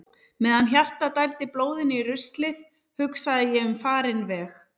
Meðan hjartað dældi blóðinu í ruslið hugsaði ég um farinn veg.